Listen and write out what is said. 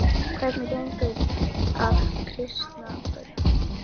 Hvernig gengur að kristna börnin?